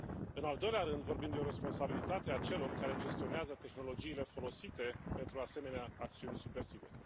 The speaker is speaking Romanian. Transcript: În al doilea rând vorbim de o responsabilitate a celor care gestionează tehnologiile folosite pentru asemenea acțiuni subversive.